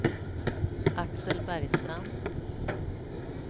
Axel Bergstrand